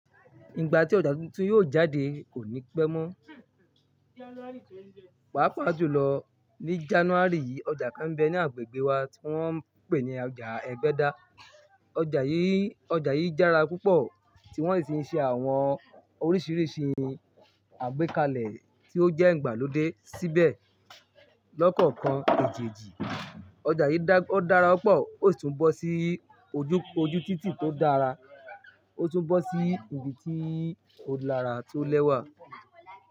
Ìgbà tí ọjà tuntun yóò jáde kò ní pẹ́ mọ́. Pàápàá jùlọ ní January yìí, ọjà kan ń bẹ ní agbègbè wa tí wọ́n ń pè ní ọjà ẹgbẹ́da. Ọjà yìí, ọjà yìí dára púpọ̀ tí wọ́n sì ń ṣe àwọn oríṣiríṣi àgbékalẹ̀ tí ó jẹ́ ìgbàlódé síbẹ̀ lọ́kọ̀ọ̀kan èje-ji. Ọjà yìí dá, ó dára pọ̀, ó sì tún bọ́ sí ojú, ojú títì tó dára. Ó tún bọ́ sí ibi tí ó lara tó lẹ́wà.